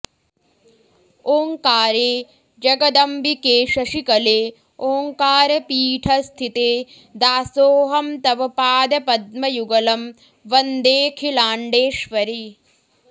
ओङ्कारे जगदम्बिके शशिकले ओङ्कारपीठस्थिते दासोऽहं तव पादपद्मयुगलं वन्देऽखिलाण्डेश्वरि